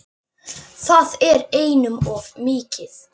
Það er einum of mikið.